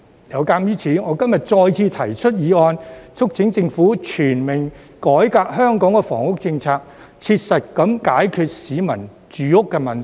有鑒於此，我今天再次提出議案，促請政府全面改革香港的房屋政策，切實解決市民住屋問題。